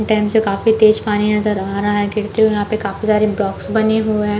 Dam से काफी तेज पानी नजर आ रहा है गिरते हुए यहाँ पे काफी सारे बॉक्स बने हुए हैं।